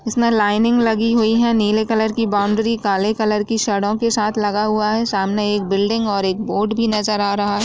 इसमें लाइनिंग लगी हुई है नीले कलर की बाउंड्री काले कलर की सड़क के साथ लगा हुआ है सामने एक बिल्डिंग और एक बोर्ड भी नजर आ रहा है।